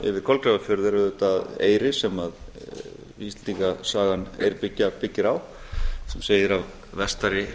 yfir kolgrafafjörð er auðvitað eyri sem íslendingasagan eyrbyggja byggir á sem segir af vestari